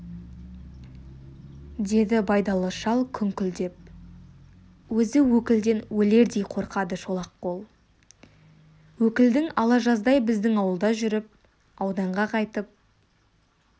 деді байдалы шал күңкілдеп өзі өкілден өлердей қорқады шолақ қол өкілдің ала жаздай біздің ауылда жүріп ауданға қайтып